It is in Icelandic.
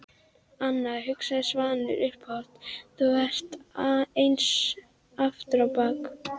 Anna, hugsaði Svanur upphátt, þú ert eins aftur á bak.